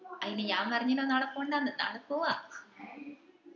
അയിന് ഞാൻ പറഞ്ഞിനോ നാളെ പോണ്ടാന്ന് നാളെ പോവ്വാ